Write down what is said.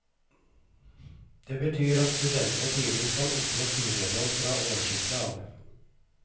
Det betyr at studentene tidligst kan oppnå studielån fra årsskiftet av.